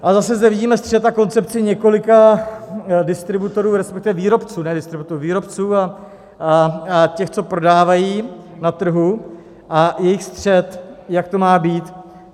Ale zase zde vidíme střet a koncepci několika distributorů, respektive výrobců, ne distributorů, výrobců a těch, co prodávají na trhu, a jejich střet, jak to má být.